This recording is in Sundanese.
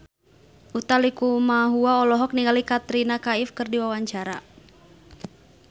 Utha Likumahua olohok ningali Katrina Kaif keur diwawancara